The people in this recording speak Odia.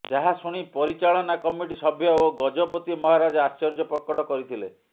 ଯାହା ଶୁଣି ପରିଚାଳନା କମିଟି ସଭ୍ୟ ଓ ଗଜପତି ମହାରାଜ ଆଶ୍ଚର୍ଯ୍ୟ ପ୍ରକଟ କରିଥିଲେ